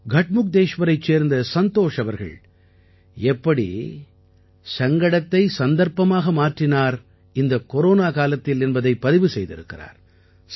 கட்முக்தேஷ்வரைச் சேர்ந்த சந்தோஷ் அவர்கள் இந்தக் கொரோனா காலத்தில் எப்படி சங்கடத்தை சந்தர்ப்பமாக மாற்றினார் என்பதை பதிவு செய்திருக்கிறார்